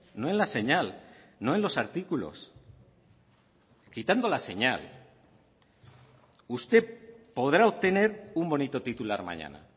no en la señal no en los artículos quitando la señal usted podrá obtener un bonito titular mañana